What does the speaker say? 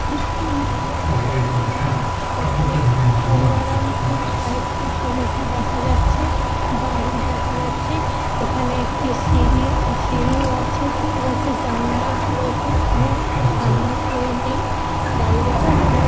একটি মাঠের মধ্যে জমি ওখানে গঙ্গারামপুর সাহিত্য সমিতি দেখা যাচ্ছে। বাড়ি দেখা যাচ্ছে। এখানে একটি সিঁড়ি সিঁড়িও আছে দেখা যাচ্ছে। জানলা রয়েছে এখানে। সামনে কেউ নেই । দাঁড়িয়ে রয়েছে আর পুকু--